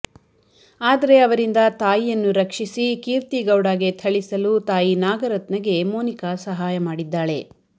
ಆದರೆ ಅವರಿಂದ ತಾಯಿಯನ್ನು ರಕ್ಷಿಸಿ ಕೀರ್ತಿಗೌಡಗೆ ಥಳಿಸಲು ತಾಯಿ ನಾಗರತ್ನಗೆ ಮೋನಿಕ ಸಹಾಯ ಮಾಡಿದ್ದಾಳೆ